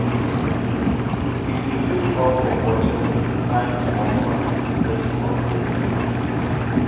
If you feel uncomfortable, find small corner, take small breath.